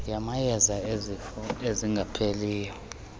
yamayeza ezifo ezingapheliyo